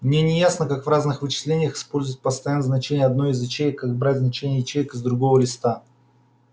мне не ясно как в разных вычислениях использовать постоянное значение одной из ячеек и как брать значения ячеек из другого листа